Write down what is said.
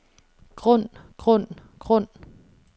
grund grund grund